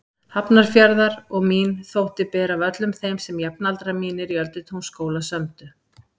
Hafnarfjarðar og mín þótti bera af öllum þeim sem jafnaldrar mínir í Öldutúnsskóla sömdu.